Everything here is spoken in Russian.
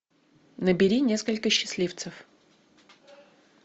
набери несколько счастливцев